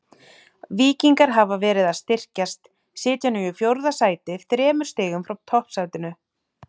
Víkingar hafa verið að styrkjast, sitja nú í fjórða sæti þremur stigum frá toppsætinu.